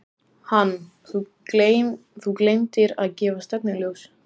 Hann: Þú gleymdir að gefa stefnuljós.